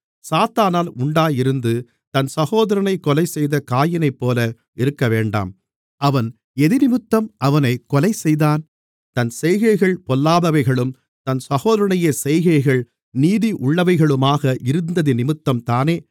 சாத்தானால் உண்டாயிருந்து தன் சகோதரனைக் கொலைசெய்த காயீனைப்போல இருக்கவேண்டாம் அவன் எதினிமித்தம் அவனைக் கொலைசெய்தான் தன் செய்கைகள் பொல்லாதவைகளும் தன் சகோதரனுடைய செய்கைகள் நீதி உள்ளவைகளுமாக இருந்ததினிமித்தம்தானே